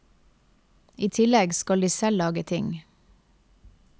I tillegg skal de selv lage ting.